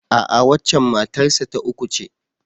A'a, waccen matar sa ta uku ce.